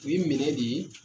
U ye minɛ di .